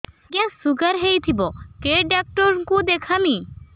ଆଜ୍ଞା ଶୁଗାର ହେଇଥିବ କେ ଡାକ୍ତର କୁ ଦେଖାମି